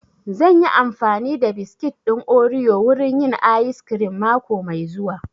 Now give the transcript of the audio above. Zan yi amfani da biskit ɗin oriyo wurin yin ayis kirim mako mai zuwa